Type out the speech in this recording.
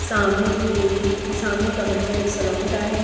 سامنے ایک سامنے کا منظر ایک سالوں کا ہے۔